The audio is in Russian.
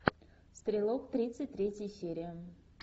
стрелок тридцать третья серия